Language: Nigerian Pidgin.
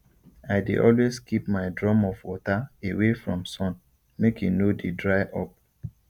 i dey always keep my drum of water away from sun make e no dey dry up